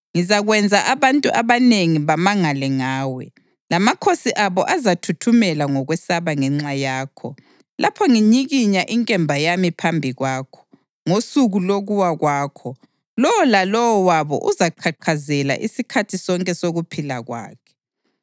Ngizakwenza abantu abanengi bamangale ngawe, lamakhosi abo azathuthumela ngokwesaba ngenxa yakho lapho nginyikinya inkemba yami phambi kwawo. Ngosuku lokuwa kwakho lowo lalowo wabo uzaqhaqhazela isikhathi sonke sokuphila kwakhe.